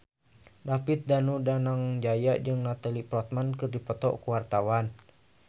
David Danu Danangjaya jeung Natalie Portman keur dipoto ku wartawan